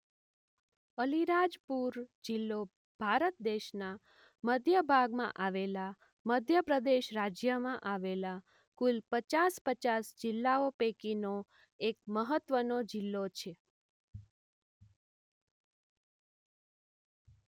અલીરાજપુર જિલ્લો ભારત દેશના મધ્ય ભાગમાં આવેલા મધ્ય પ્રદેશ રાજ્યમાં આવેલા કુલ પચાસ પચાસ જિલ્લાઓ પૈકીનો એક મહત્વનો જિલ્લો છે.